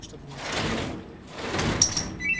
чтоб не отстать в тумане